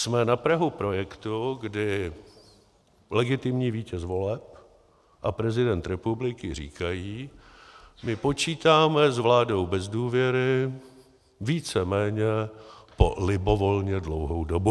Jsme na prahu projektu, kdy legitimní vítěz voleb a prezident republiky říkají: my počítáme s vládou bez důvěry víceméně po libovolně dlouhou dobu.